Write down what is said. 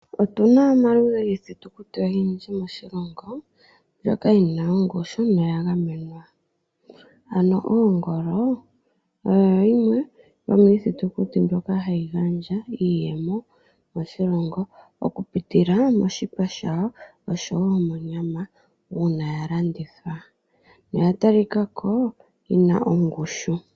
Otuna omaludhi giifitukuti oyindji moshilongo ndjoka yina ongushu noya gamenwa, ano oongolo odho dhimwe dhomiithitukuthi mbyoka ha yeeta iiyemo moshilongo oku pitila moshipa shawo nosho woo monyama ndjoka yatalikako yina ongushu.